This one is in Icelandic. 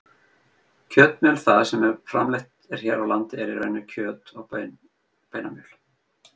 Kjötmjöl það sem framleitt er hér á landi er í raun kjöt- og beinamjöl.